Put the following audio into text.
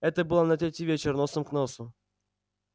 это было на третий вечер носом к носу